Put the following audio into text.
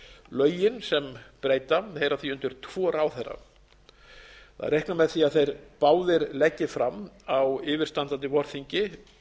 lögin sem breyta heyra því undir tvo ráðherra það er reiknað með því að þeir báðir leggi fram á yfirstandandi vorþingi